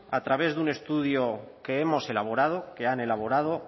a través un estudio que hemos elaborado que han elaborado